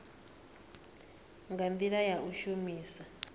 nga ndila ya u shumisa